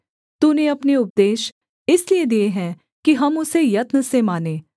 तूने अपने उपदेश इसलिए दिए हैं कि हम उसे यत्न से माने